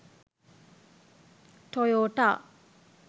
toyota